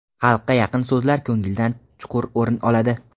Xalqqa yaqin so‘zlar ko‘ngildan chuqur o‘rin oladi.